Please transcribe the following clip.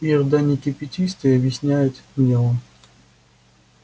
ир да не кипятись ты объясняет мне он